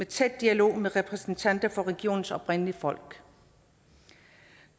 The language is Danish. tæt dialog med repræsentanter for regionens oprindelige folk